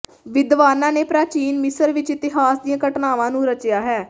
ਵਿਦਵਾਨਾਂ ਨੇ ਪ੍ਰਾਚੀਨ ਮਿਸਰ ਵਿਚ ਇਤਿਹਾਸ ਦੀਆਂ ਘਟਨਾਵਾਂ ਨੂੰ ਰਚਿਆ ਹੈ